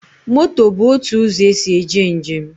Moto bụ otu ụzọ esi eje njem